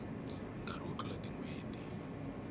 nkarhi wo tlula tin hweti